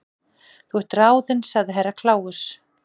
Þú ert ráðin sagði Herra Kláus.